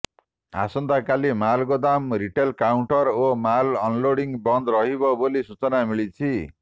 ଆସନ୍ତାକାଲି ମାଲଗୋଦାମ retail counter ଓ ମାଲ୍ ଅନଲୋଡିଂ ବନ୍ଦ ରହିବ ବୋଲି ସୂଚନା ମିଳିଛି